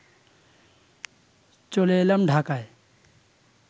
চলে এলাম ঢাকায়